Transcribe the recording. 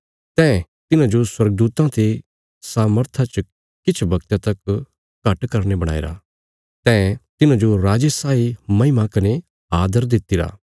तैं तिन्हांजो स्वर्गदूतां ते सामर्था च किछ वगता तक घट करीने बणाईरा तैं तिन्हांजो राजे साई महिमा कने आदर दित्तिरा